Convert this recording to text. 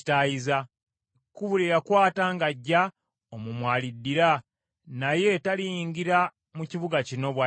Ekkubo lye yakwata ng’ajja, omwo mw’aliddira, naye taliyingira mu kibuga kino, bw’ayogera Mukama .